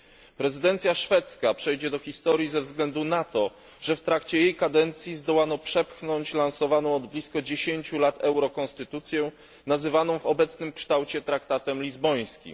Szwedzka prezydencja przejdzie do historii ze względu na to, że w trakcie jej kadencji zdołano przepchnąć lansowaną od blisko 10 lat eurokonstytucję, nazywaną w obecnym kształcie traktatem lizbońskim.